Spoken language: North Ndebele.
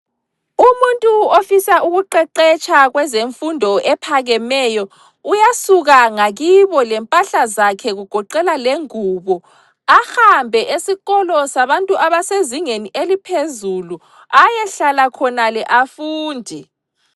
Umuntu ofisa ukuqeqetsha kwezemfundo ephakemeyo uyasuka ngakibo lempahla zakhe kugoqela lengubo ahambe esikolo sabantu abasezingeni eliphezulu ayehlala khonale afunde.